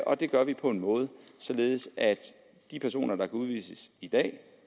og det gør vi på en måde således at de personer der kan udvises i dag